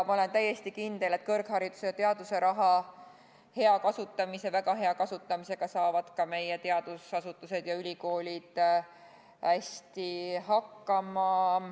Ma olen täiesti kindel, et ka meie ka meie teadusasutused ja ülikoolid saavad kõrghariduse ja teaduse raha kasutamisega väga hästi hakkama.